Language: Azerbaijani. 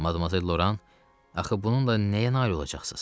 Madam Loran, axı bununla nəyə nail olacaqsınız?